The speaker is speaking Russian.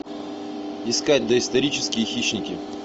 искать доисторические хищники